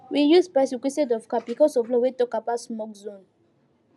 we use bicycles instead of car because of law wey talk about smoke zone